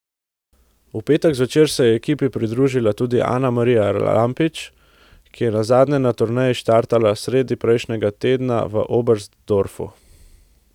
V petek zvečer se je ekipi pridružila tudi Anamarija Lampič, ki je nazadnje na turneji štartala sredi prejšnjega tedna v Oberstdorfu.